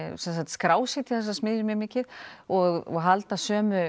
skrásetja þessar smiðjur mikið og halda